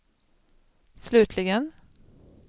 slutligen